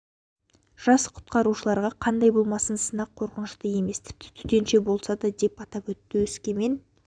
жас құтқарушыларға қандай болмасын сынақ қорқынышты емес тіпті төтенше болса да деп атап өтті өскемен